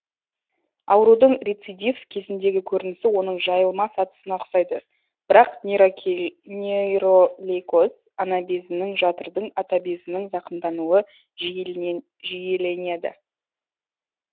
аурудың рецидив кезіндегі көрінісі оның жайылма сатысына үқсайды бірак нейролейкоз анабезінің жатырдың атабезінің зақымдануы жиіленеді